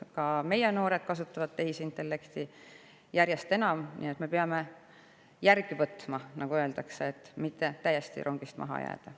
Ka meie noored kasutavad tehisintellekti järjest enam, nii et me peame neile järele võtma, nagu öeldakse, et mitte rongist täiesti maha jääda.